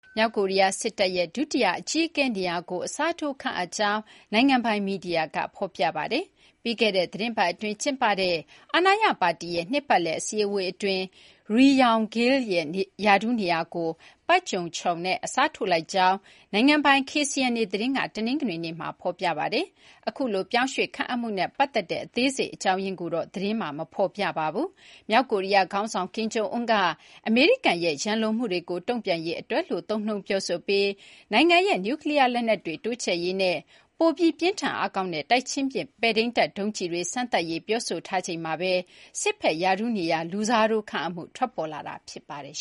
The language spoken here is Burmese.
မြောက်ကိုရီးယား စစ်တပ်ရဲ့ ဒုတိယ အကြီးအကဲ နေရာကို အစားထိုး ခန့်အပ်လိုက်ကြောင်း နိုင်ငံပိုင် မီဒီယာက ဖော်ပြပါတယ်။ ပြီးခဲ့တဲ့ သီတင်းပတ် အတွင်း ကျင်းပတဲ့ အာဏာရ ပါတီရဲ့ နှစ်ပတ်လည် အစည်းအဝေးတွင်းမှာ Pak Jong Chon ရဲ့ ရာထူးနေရာကို Ri Yong Gil နဲ့ အစားထိုးလိုက်ကြောင်း နိုင်ငံပိုင် KCNA သတင်းက တနင်္ဂနွေနေ့က ဖော်ပြပါတယ်။ အခုလို ပြောင်းရွှေ့ ခန့်အပ်မှုနဲ့ ပတ်သက်တဲ့ အသေးစိတ် အကြောင်းရင်းကိုတော့ သတင်းမှာ မဖော်ပြပါဘူး။ မြောက်ကိုရီးယား ခေါင်းဆောင် ကင်ဂျုံအွန်းက အမေရိကန်ရဲ့ ရန်လိုမှုတွေကို တုံ့ပြန်ရေး အတွက်လို့ သုံးနှုန်း ပြောဆိုပြီး နိုင်ငံရဲ့ နျူးကလီးယားလက်နက်တွေ တိုးချဲ့ရေးနဲ့ ပိုပြီး ပြင်းထန် အားကောင်းတဲ့ တိုက်ချင်းပစ် ပဲ့ထိန်းတပ် ဒုံးကျည်တွေ စမ်းသပ်ရေး ပြောဆိုထားချိန်မှာဘဲ စစ်ဘက် ရာထူး နေရာ လူစားထိုး ခန့်အပ်မှု ထွက်ပေါ်လာတာ ဖြစ်ပါတယ်